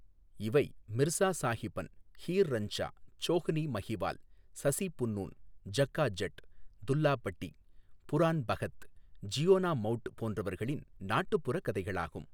இவை மிர்ஸா சாஹிபன், ஹீர் ரஞ்சா, சோஹ்னி மஹிவால், சசி புன்னூன், ஜக்கா ஜட், துல்லா பட்டி, புரான் பகத், ஜியோனா மௌட் போன்றவர்களின் நாட்டுப்புறக் கதைகளாகும்.